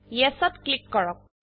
Yesত click কৰক